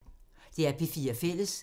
DR P4 Fælles